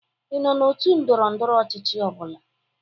Ị nọ n'otu ndọrọndọrọ ọchịchị ọ bụla?